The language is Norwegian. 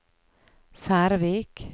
Færvik